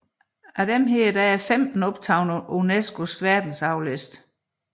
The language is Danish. Af disse er 15 optaget på UNESCOs verdensarvsliste